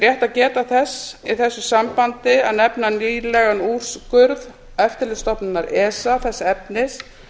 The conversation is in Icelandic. rétt að geta þess í þessu sambandi að nefna nýlegan úrskurð eftirlitsstofnunar efta þess efnis